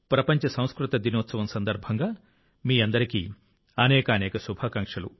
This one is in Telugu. ప్రపంచ సంస్కృత దినోత్సవం సందర్భంగా మీ అందరికీ అనేకానేక శుభాకాంక్షలు